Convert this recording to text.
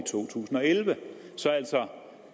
to tusind og elleve så altså